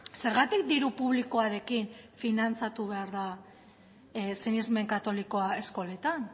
zergatik diru publikoarekin finantzatu behar da sinesmen katolikoa eskoletan